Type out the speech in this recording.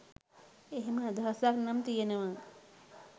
එහෙම අදහසක් නම් තියෙනවා.